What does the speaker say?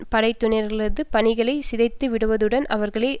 படையினர்களது பணிகளை சிதைத்து விடுவதுடன் அவர்களை